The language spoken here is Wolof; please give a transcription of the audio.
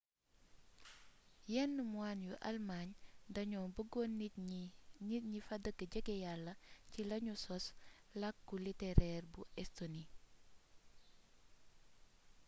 yenn moine yu almaañ dañoo bëggoon nit ñi fa dëkk jege yalla ci lañu sos làkku litereer bu estoni